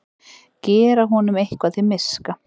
Gera honum eitthvað til miska!